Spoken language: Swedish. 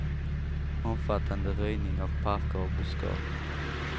Omfattande röjning av parker och buskage.